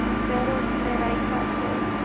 પછી perot ને રાયખ છે અરે વાહ